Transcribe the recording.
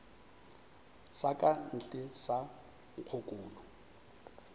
sa ka ntle sa nkgokolo